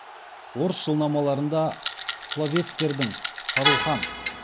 орыс жылнамаларында половецтердің шарухан